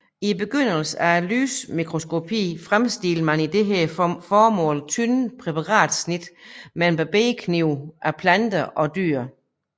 I begyndelsen af lysmikroskopien fremstillede man til dette formål tynde præparatsnit med en barberkniv af planter og dyr